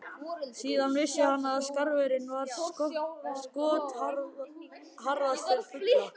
Síðan vissi hann að skarfurinn var skotharðastur fugla.